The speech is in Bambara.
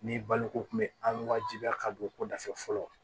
Ni baloko kun bɛ an wajibiya ka don ko da fɛ fɔlɔ